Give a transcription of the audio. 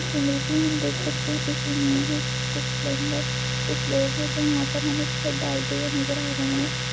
इस इमेज में हम देख सकते हैं इस इमेज में कुछ प्लम्बर कुछ लोग हैं जो यहाँ पर हमें छत डालते हुए नज़र आ रहें हैं।